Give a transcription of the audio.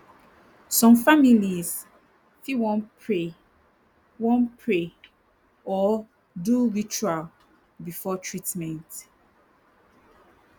some families fit wan pray wan pray or do ritual before treatment